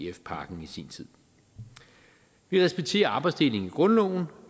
ef pakken i sin tid vi respekterer arbejdsdelingen i grundloven